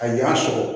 A ɲa sɔrɔ